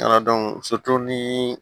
ni